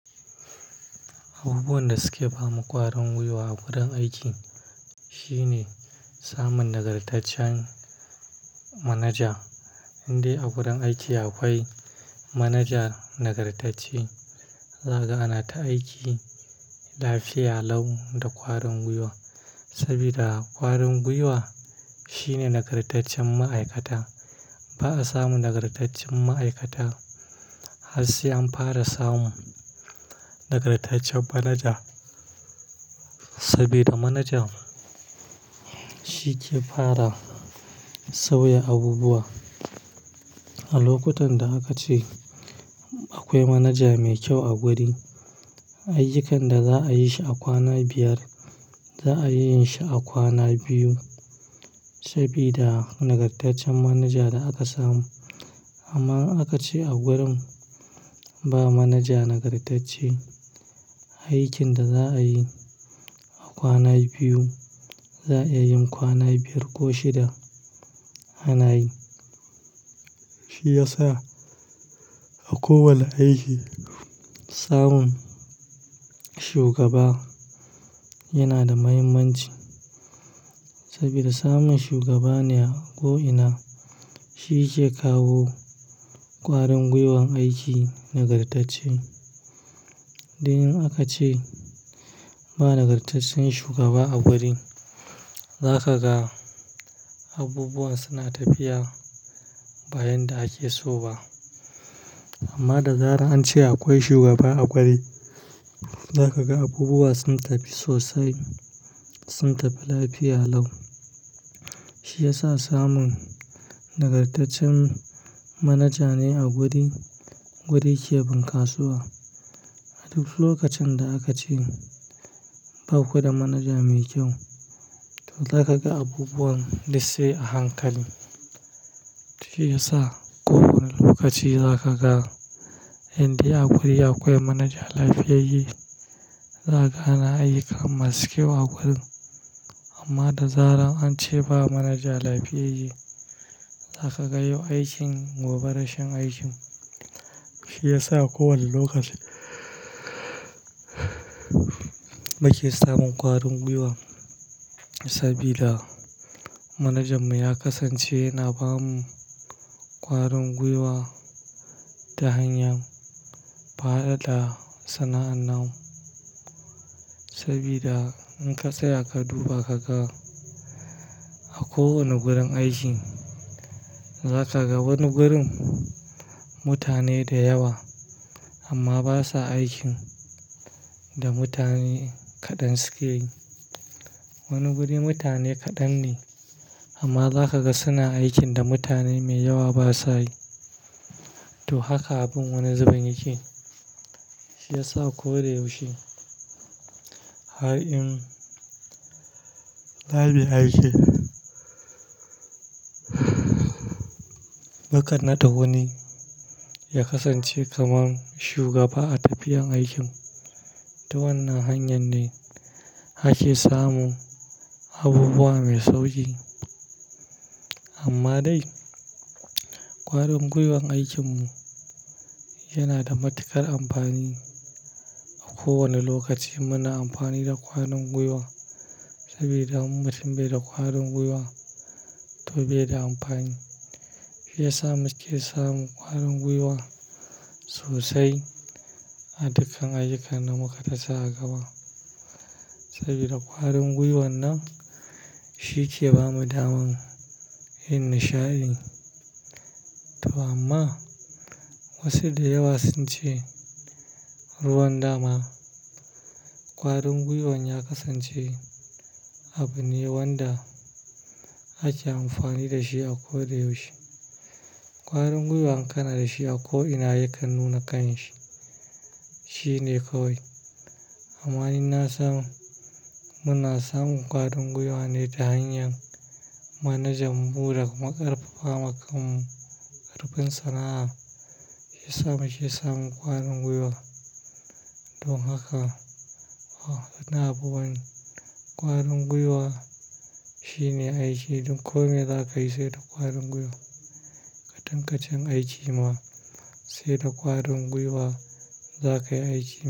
Abubuwan da suke ba makwarin gwiwa a wurin aiki shine samun nagartaccen manaja. Indai a wurin aiki akwai manajan nagartacce, haka ana ta aiki lafiya lau da ƙwarin gwiwa. Sabida ƙwarin gwiwa shine nagartaccen ma'aikata. Ba'a samu nagartaccen ma'aikata har sai an fara samu nagartaccen manaja. Sabida manajan shi ke fara sauya abubuwa. A lokutan da aka ce akwai manaja mai kyau a gurin, ayyukan da za'a yi shi a kwana biyar za'a yi shi a kwana biyu. Sabida nagartaccen manaja da aka samu. Amma in aka ce a gurin ba manaja nagartacce, aikin da za'a yi a kwana biyu za'a iya yin kwana biyar ko shida a na yi. Shi ya sa a kowane aiki samun shugaba yana da muhimmanci. Sabida samun shugaba ne a ko'ina shi ke kawo ƙwarin gwiwan aiki nagartacce. Dan in aka ce ba nagartaccen shugaba a gurin, za ka ga abubuwa suna tafiya bayan da ake so ba. Amma da zarar an ce akwai shugaba a gurin, za ka ga abubuwa sun tafi sosai, sun tafi lafiya lau. Shi ya sa samun nagartaccen manaja ne a guri, guri ke bunkasuwa. A duk lokacin da aka ce baku da manaja mai kyau, to za ka ga abubuwan dul sai a hankali. Shi ya sa a kowane lokaci za ka ga indai a guri akwai manaja lafiyayye, za ka na ayyuka masu kyau a gurin. Amma da zarar an ce ba manaja lafiyayye, za ka ga yau aikin gobe rashin aikin. Shi ya sa a kowane lokaci muke samun ƙwarin gwiwa. Sabida manajanmu ya kasance yana ba mu ƙwarin gwiwa ta hanyar fara da sana'anna. Sabida in ka tsaya ka duba ka ga a kowane gurin aiki, za ka ga wani gurin mutane da yawa amma basa aikin da mutane kaɗan suke yi. Wani guri mutane kaɗan ne amma za ka ga suna aikin da mutane mai yawa basa yi. To haka abin wani zubin yake. Shi ya sa ko da yaushe har in zamuyi aiki, mukan naɗa wuni ya kasance kamar shugaba a tafiyar aikin. To wannan hanyar ne ake samun abubuwa mai sauƙi. Amma dai ƙwarin gwiwan aikin mu yana da matuƙar amfani. A kowane lokaci muna amfani da ƙwarin gwiwa sabida mutum bai da ƙwarin gwiwa to bai da amfani. Shi ya sa muke samun ƙwarin gwiwa sosai a dukkan ayyukana muka tasa a gaba. Sabida ƙwarin gwiwan nan shi ke ba mu daman yin nishaɗi. To amma wasu da yawa sun ce ruwan dama, ƙwarin gwiwan ya kasance abu ne wanda ake amfani da shi a ko da yaushe. Ƙwarin gwiwa in kana da shi a ko'ina yakan nuna kan shi. Shi ne kawai. Amanin na sam, muna samun ƙwarin gwiwa ne ta hanyar manajanmu da kuma ƙarfafa ma kammu ƙarfin sana'a. Ya sa muke samun ƙwarin gwiwa. Don haka, a kan abubuwan ƙwarin gwiwa shine aiki duk komin da za ka yi sai da ƙwarin gwiwa. Katen-katen aiki ma sai da ƙwarin gwiwa za ka yi aiki.